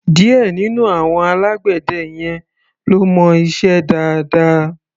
Díẹ̀ nínú àwọn alágbẹ̀dẹ yẹn ló mọ iṣẹ́ dáadáa.